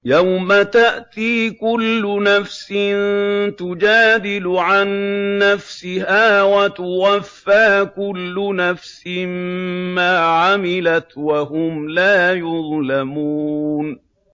۞ يَوْمَ تَأْتِي كُلُّ نَفْسٍ تُجَادِلُ عَن نَّفْسِهَا وَتُوَفَّىٰ كُلُّ نَفْسٍ مَّا عَمِلَتْ وَهُمْ لَا يُظْلَمُونَ